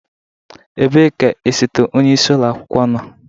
Ebee ka osote onye isi ụlọ akwụkwọ nọ?